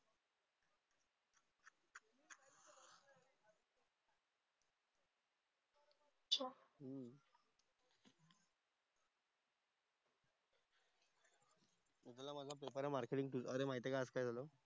Marketing तुझा. अरे माहिती आहे का आज काय झालं?